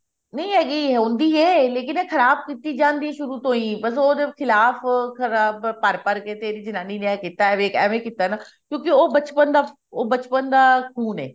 ਨਹੀਂ ਹੈਗੀ ਹੁੰਦੀ ਹੈ ਖਰਾਬ ਕੀਤੀ ਜਾਂਦੀ ਹੈ ਸ਼ੁਰੂ ਤੋਂ ਬਸ ਉਹਦੇ ਖਿਲਾਫ਼ ਖਰਾਬ ਭਰ ਭਰ ਕੇ ਤੇਰੀ ਜਨਾਨੀ ਨੇ ਏਵੇਂ ਕੀਤਾ ਕਿਉਂਕਿ ਉਹ ਬਚਪਨ ਬਚਪਨ ਦਾ ਖੂਨ ਹੈ